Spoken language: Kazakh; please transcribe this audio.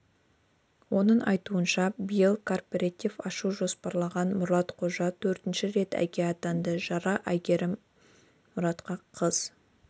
оның айутынша биыл кооператив ашу жоспарланған мұрат қожа төртінші рет әке атанды жары әйгерім мұратқа қыз